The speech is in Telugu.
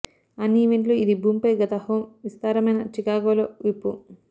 అన్ని ఈవెంట్లు ఇది భూమిపై గత హోమ్ విస్తారమైన చికాగో లో విప్పు